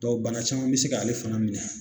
bana caman bɛ se k'ale fana minɛ